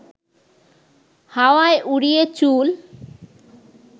হাওয়ায় উড়িয়ে চুল